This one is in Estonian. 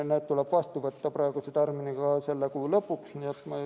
Need tuleb vastu võtta praeguse tärminiga selle kuu lõpuks.